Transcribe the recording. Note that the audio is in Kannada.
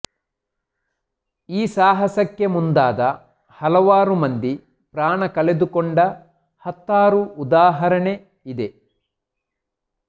ಈ ಸಾಹಸಕ್ಕೆ ಮುಂದಾದ ಹಲವಾರು ಮಂದಿ ಪ್ರಾಣ ಕಳೆದುಕೊಂಡ ಹತ್ತಾರು ಉದಾಹರಣೆ ಇದೆ